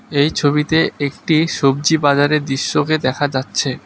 এই ছবিতে একটি সবজি বাজারের দৃশ্যকে দেখা যাচ্ছে।